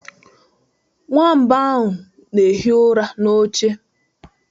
Nwamba ahụ na-ehi ụra n'oche.